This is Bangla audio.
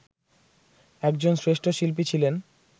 একজন শ্রেষ্ঠ শিল্পী ছিলেন